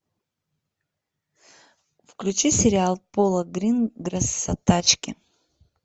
включи сериал пола гринграсса тачки